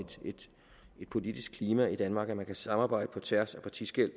politiske klima i danmark at man kan samarbejde på tværs af partiskel